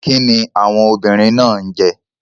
Kíni àwọn obìnrin náà ń jẹ?